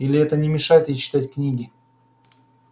или это не мешает ей читать книги